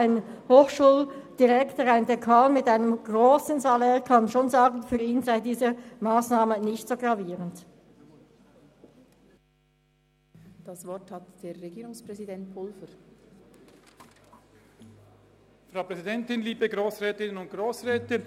Ein Hochschuldirektor mit einem grossen Salär kann schon sagen, dass diese Massnahme für ihn nicht so gravierend sei.